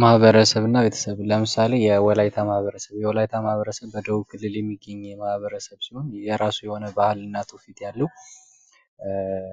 ማኀበረሰብና ቤተሰብ ለምሳሌ የወላይታ ማህበረሰብ የወላይታ ማህበረሰብ በደቡብ ክልል የሚገኝ ማህበረሰብ ሲሆን የራሱ የሆነ ባህል እና ትውፊት ያለው ሲሆን